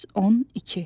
112.